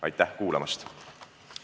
Aitäh kuulamast!